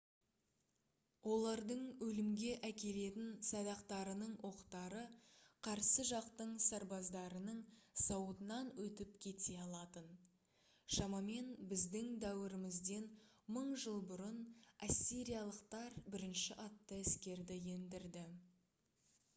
олардың өлімге әкелетін садақтарының оқтары қарсы жақтың сарбаздарының сауытынан өтіп кете алатын шамамен біздің дәуірімізден 1000 жыл бұрын ассириялықтар бірінші атты әскерді ендірді